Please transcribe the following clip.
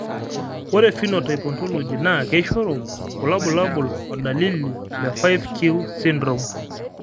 Ore Phenotype Ontology naa keishoru kulo bulabol o dalili le 5q syndrome